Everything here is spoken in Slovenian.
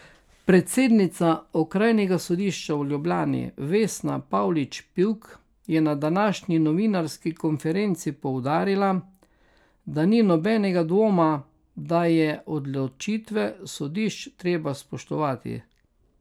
Predsednica Okrajnega sodišča v Ljubljani Vesna Pavlič Pivk je na današnji novinarski konferenci poudarila, da ni nobenega dvoma, da je odločitve sodišč treba spoštovati.